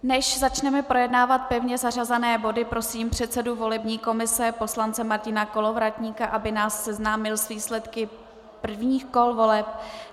Než začneme projednávat pevně zařazené body, prosím předsedu volební komise poslance Martina Kolovratníka, aby nás seznámil s výsledky prvních kol voleb.